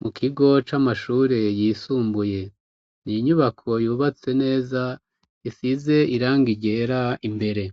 Mukigo c'amashure yisumbuye n'inyubako yubatse neza isize irangi ryera. Imbere